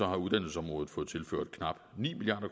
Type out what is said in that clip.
har uddannelsesområdet fået tilført knap ni milliard